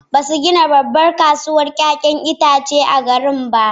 Ba su gina babbar kasuwar 'ya'yan itace a garin ba.